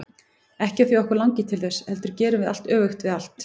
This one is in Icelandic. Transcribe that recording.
Ekki af því að okkur langi til þess, heldur gerum við allt öfugt við allt.